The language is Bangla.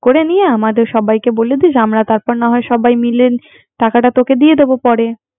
করে নিয়ে আমাদের সবাইকে বলে দিস আমরা তারপর না হয় সবাই মিলে টাকাটা তোকে দিয়ে দিব